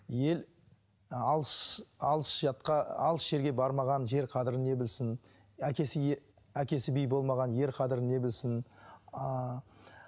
ел ы алыс алыс жатқа алыс жерге бармаған жер қадірін не білсін әкес әкесі би болмаған ер қадірін не білсін ааа